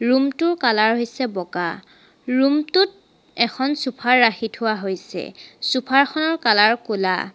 Room টো colour হৈছে বগা ৰূম টোত এখন চোফাৰ ৰাখি থোৱা হৈছে চোফা খনত কালাৰ ক'লা।